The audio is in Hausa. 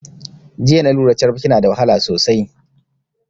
Jiya na lura carabke na da wahala sosai